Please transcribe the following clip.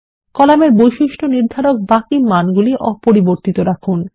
কলামের বৈশিষ্ট্য নির্ধারক বাকি মানগুলি অপরিবর্তিত রাখুন